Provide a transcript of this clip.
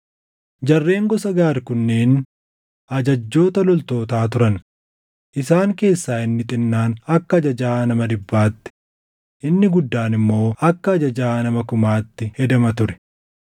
Jarreen gosa Gaad kunneen ajajjoota loltootaa turan; isaan keessaa inni xinnaan akka ajajaa nama dhibbaatti, inni guddaan immoo akka ajajaa nama kumaatti hedama ture.